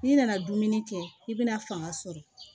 N'i nana dumuni kɛ i bɛna fanga sɔrɔ